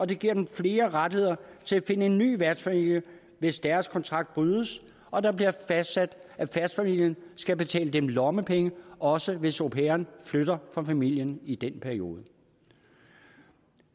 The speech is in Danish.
det giver dem flere rettigheder til at finde en ny værtsfamilie hvis deres kontrakt brydes og det bliver fastsat at værtsfamilien skal betale dem lommepenge også hvis au pairen flytter fra familien i den periode